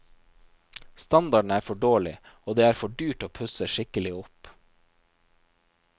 Standarden er for dårlig, og det er for dyrt å pusse skikkelig opp.